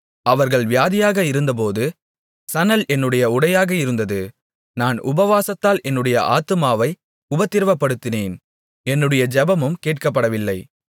அவர்கள் வியாதியாக இருந்தபோது சணல் என்னுடைய உடையாக இருந்தது நான் உபவாசத்தால் என்னுடைய ஆத்துமாவை உபத்திரவப்படுத்தினேன் என்னுடைய ஜெபமும் கேட்கப்படவில்லை